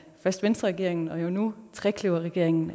først venstreregeringen og nu trekløverregeringen